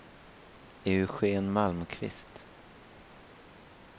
Eugen Malmqvist